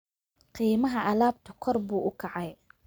Qiimaha alaabtu kor buu u kacay